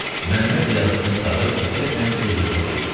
Məmməd yazısını qurtarıb diqqətlə öz-özünə oxuyurdu.